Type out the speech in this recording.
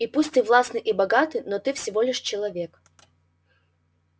и пусть ты властный и богатый но ты всего лишь человек